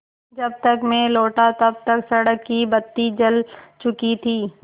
जब तक मैं लौटा तब तक सड़क की बत्ती जल चुकी थी